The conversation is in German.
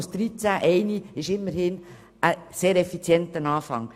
Aus 13 Gemeinden wurde eine einzige gemacht.